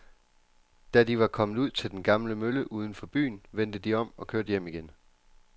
Da de var kommet ud til den gamle mølle uden for byen, vendte de om og kørte hjem igen.